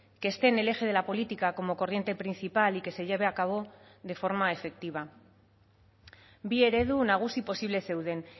que esté en el eje de la política como corriente principal y que se lleve a cabo de forma efectiva bi eredu nagusi posible zeuden